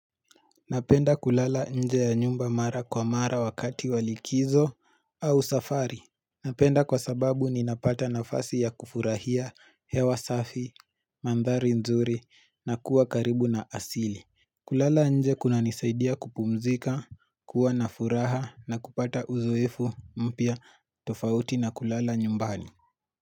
Napenda kulala nje ya nyumba mara kwa mara wakati walikizo au safari. Napenda kwa sababu ninapata nafasi ya kufurahia hewa safi, mandhari nzuri na kuwa karibu na asili. Kulala nje kunanisaidia kupumzika, kuwa na furaha na kupata uzoefu mpya tofauti na kulala nyumbani.